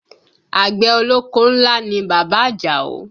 Àgbẹ̀ ọlọ́kọ́ ńlá ni bàbá Àjàó